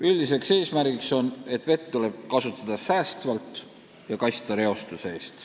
Üldine eesmärk on vett säästvalt kasutada ja reostuse eest kaitsta.